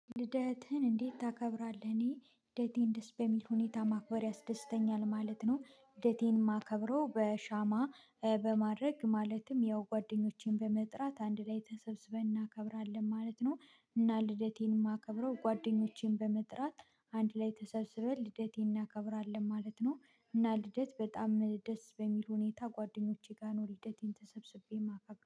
ልደትህን እንዴት ታከብራለህ? እኔ ልደቴን ደስ በሚል ሁኔታ ማክበር ያስደስተኛል ማለት ነው። ልደቴን የማከብረው በሻማ በማድረግ ማለትም ያው ጓደኞቼን በመጥራት አንድ ላይ ተሰብስበን እናከብራለን ማለት ነው። እና ልደቴን የማከብረው ጓደኞቼን በመጥራት አንድ ላይ ተሰብስበን ልደቴን እናከብራለን ማለት ነው። እና ልደት በጣም ደስ በሚል ሁኔታ ጓደኞቼ ጋር ነው ልደቴን ተሰብስቤ የማከብረው